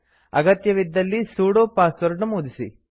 ಅಗತ್ಯವಿದ್ದಲ್ಲಿ sudo password ನಮೂದಿಸಿ